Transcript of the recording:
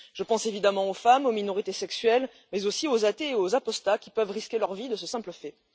Je pense évidemment aux femmes, aux minorités sexuelles, mais aussi aux athées et aux apostats, qui peuvent risquer leur vie de ce simple fait.